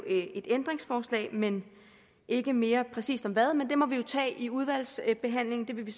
ændringsforslag men ikke mere præcist om hvad men det må vi jo tage i udvalgsbehandlingen det vil vi